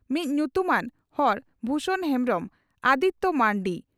ᱢᱤᱫ ᱧᱩᱛᱩᱢᱟᱱ ᱦᱚᱲ ᱵᱷᱩᱥᱚᱱ ᱦᱮᱢᱵᱽᱨᱚᱢ (ᱟᱫᱤᱛᱭᱚ ᱢᱟᱨᱱᱰᱤ)